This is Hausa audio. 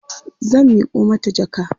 zan Miko mata jaka